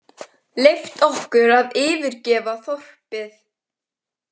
Leyft okkur að yfirgefa þorpið.